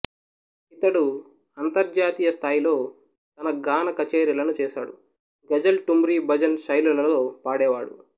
ఇతడు అంతర్జాతీయ స్థాయిలో తన గాన కచేరీలను చేశాడు గజల్ ఠుమ్రి భజన్ శైలులలో పాడేవాడు